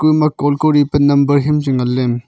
ku ema call kori pa number hiam chu ngan ley.